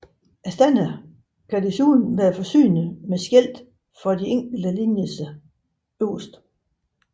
Standerne kan desuden være forsynet med skilte for de enkelte linjer øverst